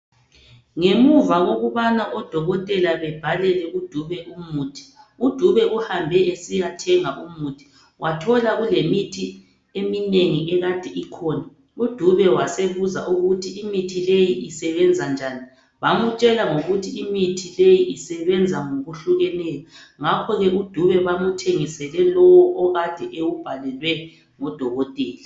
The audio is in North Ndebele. Ngemuva kokubana odokotela bebhalele uDube umuthi, uDube uhambe esiyathenga umuthi , wathola kulemithi eminengi ekade ikhona, uDube wasebuza ukuthi imithi leyi isebenza njani, bamutshela ngokuthi imithi leyi isebenza ngokuhlukeneyo, ngakhoke uDube bamuthengisele lowo okade ewubhalelwe ngudokotela.